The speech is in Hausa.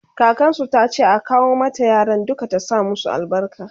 kakansu tace a kawo mata yaran duka ta sa masu albarka